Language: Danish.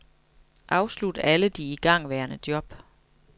Afslut alle de igangværende job.